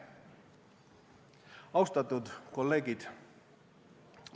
" Austatud kolleegid!